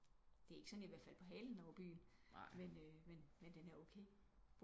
Det er ikke sådan jeg her ved at falde på halen over byen men den er okay